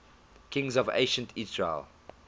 kings of ancient israel